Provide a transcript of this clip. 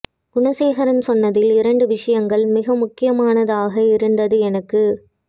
குண சேகரன் சொன்னதில் இரண்டு விஷயங்கள் மிக முக்கியமானதாக இருந்தது எனக்கு